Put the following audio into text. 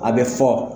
A bɛ fɔ